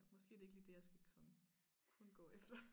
Måske det ikke lige det jeg skal sådan kun gå efter